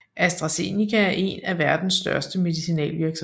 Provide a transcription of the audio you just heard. AstraZeneca er én af verdens største medicinalvirksomheder